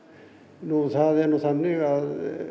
nú það er nú þannig að